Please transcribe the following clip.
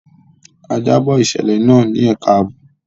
A jábọ̀ ìṣẹ̀lẹ̀ náà ní ẹka àbò.